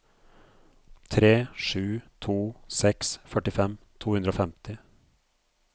tre sju to seks førtifem to hundre og femti